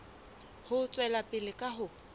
ho tswela pele ka ho